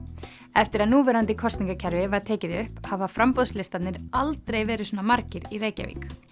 eftir að núverandi kosningakerfi var tekið upp hafa framboðslistarnir aldrei verið svona margir í Reykjavík